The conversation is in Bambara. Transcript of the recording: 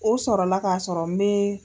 O sɔrɔla k'a sɔrɔ me.